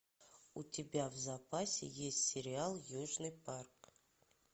у тебя в запасе есть сериал южный парк